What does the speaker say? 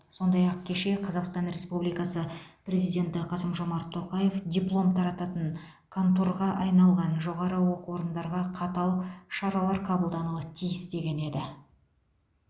сондай ақ кеше қазақстан республикасы президенті қасым жомарт тоқаев диплом тарататын конторға айналған жоғары оқу орындарға қатал шаралар қабылдануы тиіс деген еді